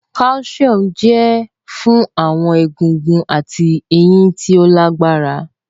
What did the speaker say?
Calcium jẹ fun awọn egungun ati eyin ti o lagbara